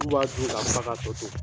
Anw b'a dun k'an fa k'a tɔ to.